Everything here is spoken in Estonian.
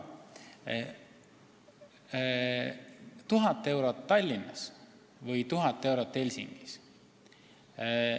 Võtame näiteks 1000 eurot Tallinnas ja 1000 eurot Helsingis.